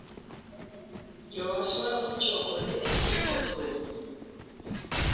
Jo-Warsaw ochokore e nyim Od Romo.